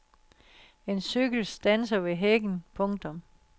En cykel standser ved hækken. punktum